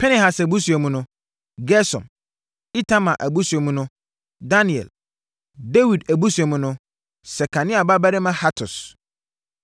Pinehas abusua mu no: Gersom; Itamar abusua mu no: Daniel. Dawid abusua mu no: Sekania babarima Hatus.